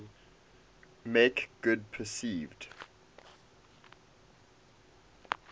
make good perceived